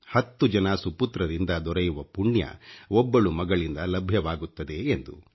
10 ಜನ ಸುಪುತ್ರರಿಂದ ದೊರೆಯುವ ಪುಣ್ಯ ಒಬ್ಬಳು ಮಗಳಿಂದ ಲಭ್ಯವಾಗುತ್ತದೆ ಎಂದು